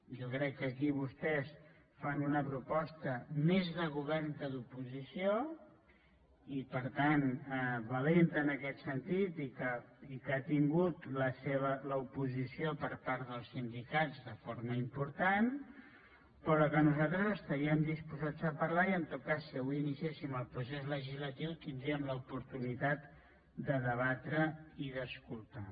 jo crec que aquí vostès fan una proposta més de govern que d’oposició i per tant valenta en aquest sentit i que ha tingut l’oposició per part dels sindicats de forma important però que nos·altres estaríem disposats a parlar·ne i en tot cas si avui iniciéssim el procés legislatiu tindríem l’oportu·nitat de debatre i d’escoltar